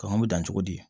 Kɔngɔ bɛ dan cogo di